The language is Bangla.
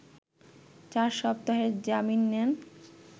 চার সপ্তাহের জামিন নেন